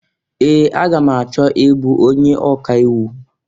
Ee! Aga m achọ ị bụ onye ọka iwu.